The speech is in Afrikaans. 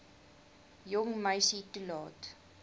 jong meisie toelaat